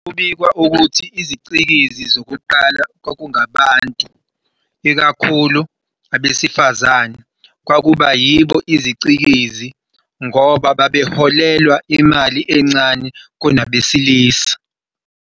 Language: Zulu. Kubikwa ukuthi izicikizi zokuqala kwakungabantu, ikakhulu abesifazane, kwakuba yibo izicikizi ngoba babeholelwa imali encane kunabesilisa.